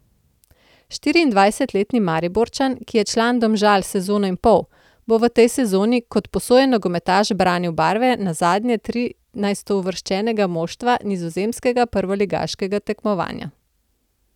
Štiriindvajsetletni Mariborčan, ki je član Domžal sezono in pol, bo v tej sezoni kot posojen nogometaš branil barve nazadnje trinajstouvrščenega moštva nizozemskega prvoligaškega tekmovanja.